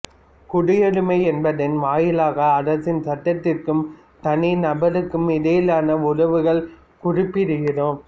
குடியுரிமை என்பதன் வாயிலாக அரசின் சட்டத்திற்கும் தனி நபருக்கும் இடையிலான உறவுகளை குறிப்பிடுகிறோம்